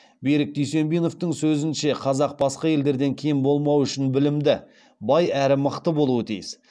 берік дүйсенбиновтің сөзінше қазақ басқа елдерден кем болмауы үшін білімді бай әрі мықты болуы тиіс